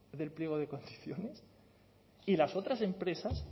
del pliego de condiciones y las otras empresas